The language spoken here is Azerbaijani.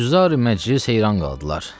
Hüzdar məclis heyran qaldılar.